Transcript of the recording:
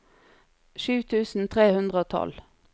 sju tusen tre hundre og tolv